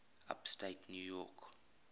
upstate new york